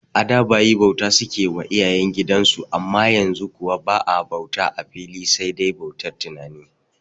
A da bayi bauta suke wa iyayen gidan su amma yanzu kuwa ba'a bauta a fili sai dai bautar tunani